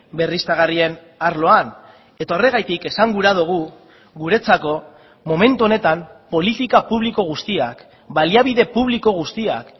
berriztagarrien arloan eta horregatik esan gura dugu guretzako momentu honetan politika publiko guztiak baliabide publiko guztiak